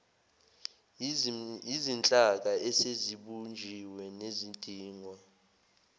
yizinhlaka esezibunjiwe nezidingwa